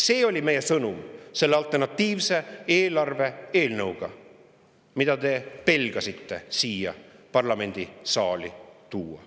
See oli meie sõnum selle alternatiivse eelarve eelnõuga, mida te pelgasite siia parlamendisaali tuua.